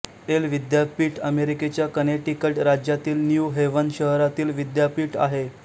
L विद्यापीठ अमेरिकेच्या Connecticut राज्यातील न्यू हेवन शहरातील विद्यापीठ आहे